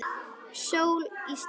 Sól í suðri.